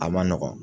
A man nɔgɔn